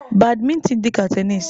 Badmintin dị ka tenisi.